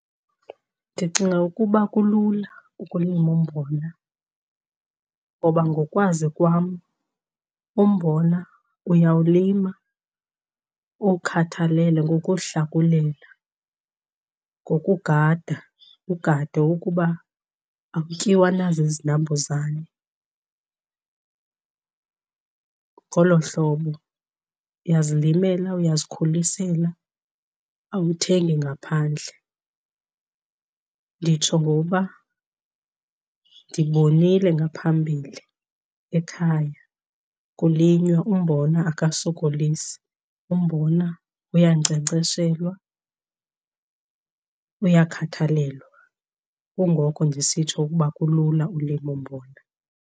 Ndicinga ukuba kulula ukulima umbona ngoba ngokwazi kwam umbona uyawulima, uwukhathalele ngokuwuhlakulela, ngokugada ugade ukuba akutyiwa na zizinambuzane. Ngolo hlobo uyazilimela, uyazikhulisela awuthengi ngaphandle. Nditsho ngoba ndibonile ngaphambili ekhaya kulinywa umbona akasokolisi, umbona uyankcenkceshelwa, uyakhathalelwa. Kungoko ndisitsho ukuba kulula ulima umbona.